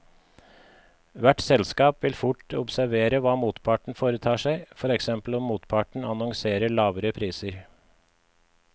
Hvert selskap vil fort observere hva motparten foretar seg, for eksempel om motparten annonserer lavere priser.